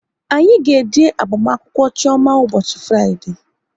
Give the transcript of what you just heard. Anyị ga-eje agbamakwụkwọ Chioma ụbọchị Fraịdee